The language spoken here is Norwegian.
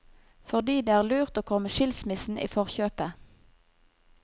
Fordi det er lurt å komme skilsmissen i forkjøpet.